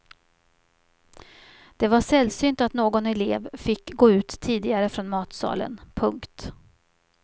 Det var sällsynt att någon elev fick gå ut tidigare från matsalen. punkt